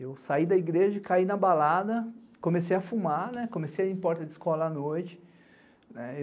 Eu saí da igreja, caí na balada, comecei a fumar, comecei a ir em porta de escola à noite.